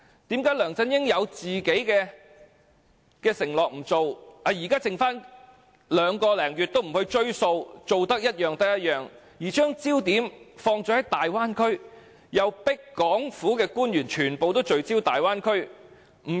為何梁振英有自己的承諾不理，現時任期剩下兩個多月都不盡力去做，以兌現選舉承諾，反而將焦點放在大灣區，又強迫港府官員全部聚焦大灣區？